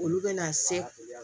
Olu bɛna se